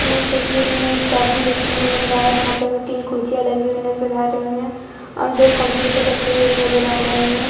इस तस्वीर में एक केबिन देखने को मिल रहा है जहां पे हमें तीन कुर्सियां लगी हुई नजर आ रही है और दो कंप्यूटर रखे हुए भी नजर आ रहे है।